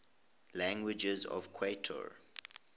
languages of qatar